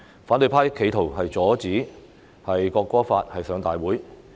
反對派企圖阻止《條例草案》提交至立法會會議。